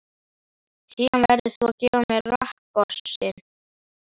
Síðan verður þú að gefa mér rakkossinn.